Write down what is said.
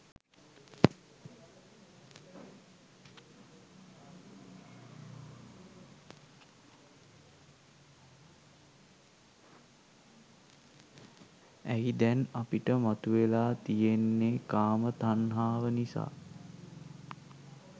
ඇයි දැන් අපිට මතුවෙලා තියෙන්නේ කාම තණ්හාව නිසා